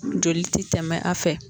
Joli ti tɛmɛ a fɛ